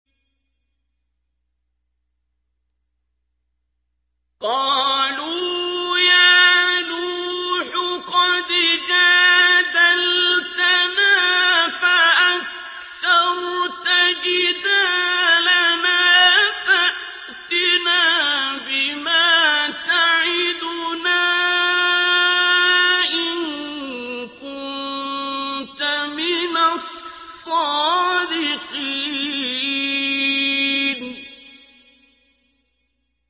قَالُوا يَا نُوحُ قَدْ جَادَلْتَنَا فَأَكْثَرْتَ جِدَالَنَا فَأْتِنَا بِمَا تَعِدُنَا إِن كُنتَ مِنَ الصَّادِقِينَ